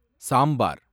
sambar